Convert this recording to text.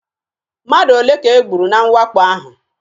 Mmadụ ole ka e gburu na mwakpo ahụ?